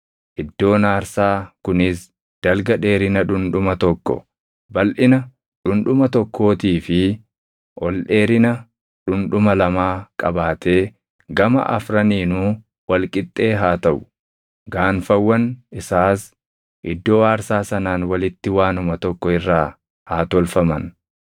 Iddoon aarsaa kunis dalga dheerina dhundhuma tokko, balʼina dhundhuma tokkootii fi ol dheerina dhundhuma lamaa qabaatee gama afraniinuu wal qixxee haa taʼu; gaanfawwan isaas iddoo aarsaa sanaan walitti waanuma tokko irraa haa tolfaman.